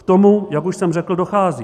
K tomu, jak už jsem řekl, dochází.